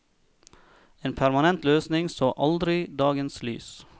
En permanent løsning så aldri dagens lys.